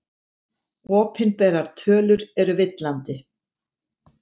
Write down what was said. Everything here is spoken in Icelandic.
Opinberar tölur eru villandi